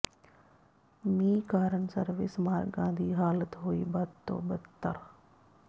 ਮੀਂਹ ਕਾਰਨ ਸਰਵਿਸ ਮਾਰਗਾਂ ਦੀ ਹਾਲਤ ਹੋਈ ਬਦ ਤੋਂ ਬਦਤਰ